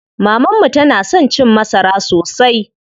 Maman mu tana son cin masara sosai.